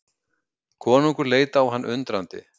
Konungur leit á hann undrandi.